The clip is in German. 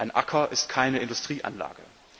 Ein Acker ist keine Industrieanlage.